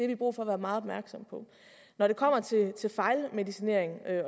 vi brug for at være meget opmærksomme på når det kommer til fejlmedicinering